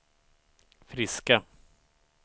friska